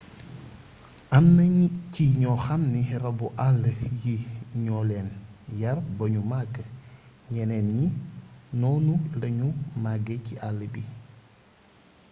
amna ci ñoo xamni rabu àll yi ñoo leen yar bañu màgg ñeneen ñi noonu lañu màggee ci àll bi